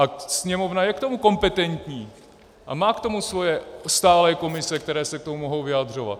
A Sněmovna je k tomu kompetentní a má k tomu svoje stálé komise, které se k tomu mohou vyjadřovat.